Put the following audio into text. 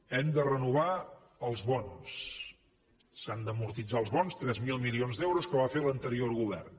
hem de renovar els bons s’han d’amortitzar els bons tres mil milions d’euros que va fer l’anterior govern